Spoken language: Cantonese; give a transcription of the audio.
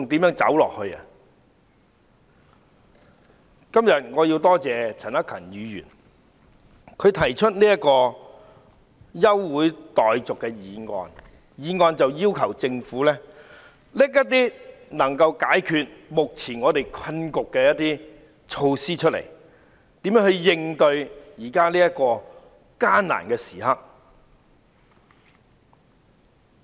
我今天要多謝陳克勤議員提出這項休會待續議案，要求政府提出解決目前困局的措施，看看如何應對目前艱難的時刻。